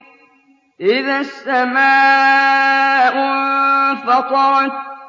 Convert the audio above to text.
إِذَا السَّمَاءُ انفَطَرَتْ